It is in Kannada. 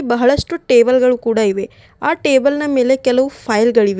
ಬಹಳಷ್ಟು ಟೇಬಲ್ ಗಳು ಕೂಡ ಇವೆ ಆ ಟೇಬಲ್ನ ಮೇಲೆ ಕೆಲವು ಫೈಲ್ ಗಳಿವೆ.